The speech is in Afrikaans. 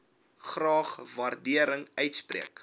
graag waardering uitspreek